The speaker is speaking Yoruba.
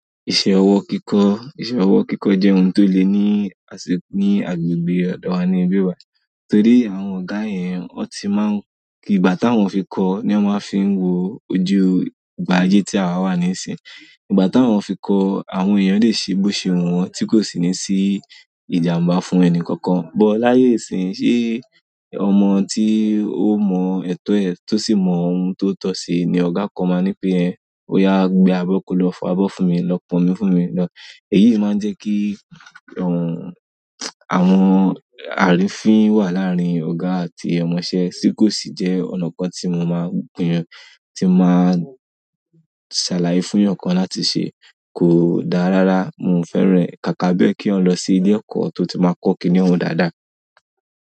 Ìṣe ọwọ́ kíkọ́, ìṣe ọwọ́ kíkọ́ jẹ́ ohun tó le ní ase ní agbègbè ọ̀dọ wa ni ìbí wa. Torí àwọn ọ̀gà yẹn, wọ́n ti má ń kí ìgbà táwọn fi kọ́ ni wọ́n máa ń fi wo ojú ìgbà ayé tí a wà nísìn. Ìgbà táwọn fi kọ́, àwọn èèyàn lè ṣe bó ṣe wun wọ́n tí kò sì ní sí ìjàmbá fún ẹni kankan. But láyé ìsìnyí, ṣe ọmọ tí ó mọ ẹtọ ẹ̀ tọ́ sì mọ ohun tó tọ́ ṣe ni ọ̀gá kan máa ńi pe ẹ̀, "Óyá gbé abọ́ kọ́ lọ fọ abọ́ fún mi, lọ pọn omi fún mi lọ." Èyii máa ń jẹ́ kí òun àwọn àrífín wà láàárín ọ̀gá àti ọmọṣẹ́ tí kò sì jẹ́ ọ̀nà kan tí mo máa gúnyàn, tí máa ń ṣàlàyé fún eyan kan láti ṣe. Kò dá rárá, mio fẹ́ràn kàkà bé kí eyan lọ sí ilé ẹ̀kọ́ tó ti máa ń kọ́ kíniún dáadáa.